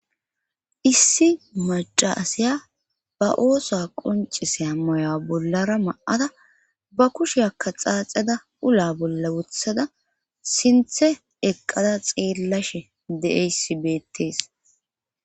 issi macaasiya ba ooso qonciseya maya bollara ma7ada ba kushe akka xaaxada ula bolla wothada sinthe eqqada xeellashe de7eysi beettees